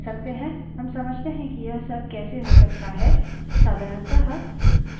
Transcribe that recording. साधारणतः shell का व्यवहार shell के variables से निर्धारित होता है